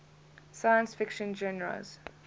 science fiction genres